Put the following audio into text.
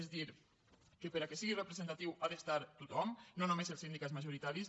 és a dir que perquè sigui representatiu hi ha d’estar tothom no només els sindicats majoritaris